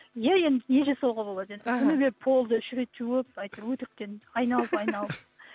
иә енді не жасауға болады енді іхі күнде полды үш рет жуып әйтеуір өтіріктен айналып айналып